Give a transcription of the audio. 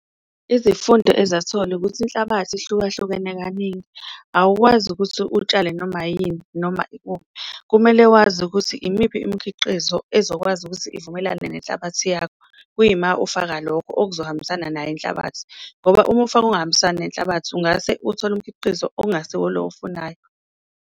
Izifundo ezathola ukuthi inhlabathi ihlukahlukene kaningi awukwazi ukuthi utshale noma yini noma ikuphi, kumele wazi ukuthi imiphi imikhiqizo ezokwazi wazi ukuthi ivumelane nenhlabathi yakho kuyima ufaka lokho okuzohambisana nayo inhlabathi. Ngoba uma ufaka okuhambisani nenhlabathi ungase uthole umkhiqizo ongasiwo lo owufunayo.